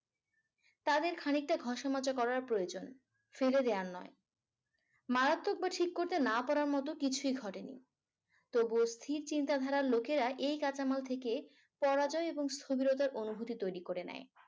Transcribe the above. তাদের খানিকটা ঘষা মাজা করার প্রয়োজন ফেলে দেওয়ার নয়। মারাত্মক বা খুটে না পড়ার মতো কিছুই ঘটেনি। তবুও অস্থির চিন্তাধারার লোকেরা এই কাঁচামাল থেকে পরাজয় এবং অনুভূতি তৈরি করে নেয়।